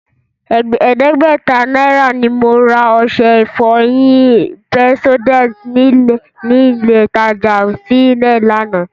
Ẹ̀ẹ́dẹ́gbẹ̀ta náírà ni mo ra ọṣẹ ìfọyín Pepsodent nílé ìtajà fsy lánàá